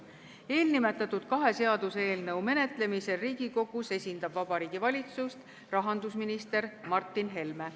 Kahe viimati nimetatud seaduseelnõu menetlemisel Riigikogus esindab Vabariigi Valitsust rahandusminister Martin Helme.